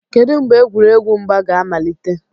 kedu mgbe egwuregwu mgba ga amalite